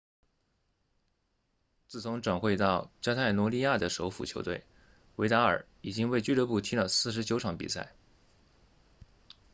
自从转会到加泰罗尼亚的首府球队维达尔已经为俱乐部踢了49场比赛